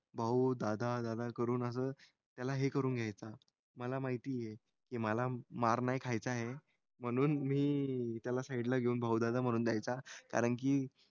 भाऊ दादा दादा करून असं त्याला हे करून घ्यायचा. मला माहिती आहे की मला मार नाही खायचाय. म्हणून मी त्याला साईडला घेऊन भाऊ दादा म्हणून द्यायचा. कारण की,